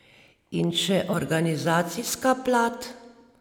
In še organizacijska plat.